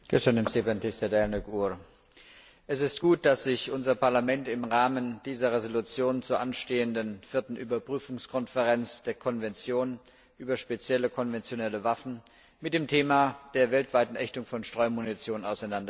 Herr Präsident! Es ist gut, dass sich unser Parlament im Rahmen dieser Entschließung zur anstehenden Vierten Überprüfungskonferenz der Konvention über spezielle konventionelle Waffen mit dem Thema der weltweiten Ächtung von Streumunition auseinandersetzt.